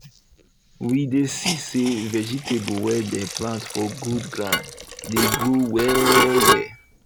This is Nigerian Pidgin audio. we dey see say vegetable wey dem plant for good ground dey grow well well